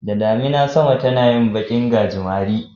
Da damuna sama tana yin bakin gajimare.